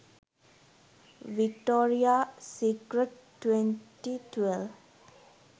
victoria secret 2012